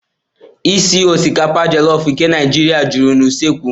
ísì osikapa jolofu nke Naijiria juru na usekwu.